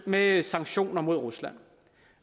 med sanktioner mod rusland